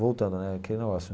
Voltando né, aquele negócio.